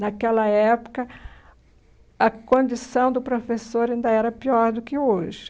Naquela época, a condição do professor ainda era pior do que hoje.